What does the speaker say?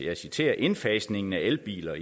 jeg citerer indfasningen af elbiler